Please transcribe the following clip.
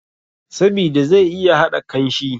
Sabida zai iya haɗa kanshi